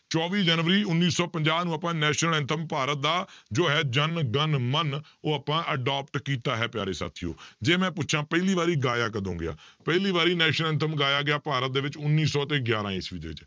ਚੌਵੀ ਜਨਵਰੀ ਉੱਨੀ ਸੌ ਪੰਜਾਹ ਨੂੰ ਆਪਾਂ national anthem ਭਾਰਤ ਦਾ ਜੋ ਹੈ ਜਨ ਗਨ ਮਨ ਉਹ ਆਪਾਂ adopt ਕੀਤਾ ਹੈ ਪਿਆਰੇ ਸਾਥੀਓ ਜੇ ਮੈਂ ਪੁੱਛਾਂ ਪਹਿਲੀ ਵਾਰੀ ਗਾਇਆ ਕਦੋਂ ਗਿਆ, ਪਹਿਲੀ ਵਾਰੀ national anthem ਗਾਇਆ ਗਿਆ ਭਾਰਤ ਦੇ ਵਿੱਚ ਉੱਨੀ ਸੌ ਤੇ ਗਿਆਰਾਂ ਈਸਵੀ ਦੇ ਵਿੱਚ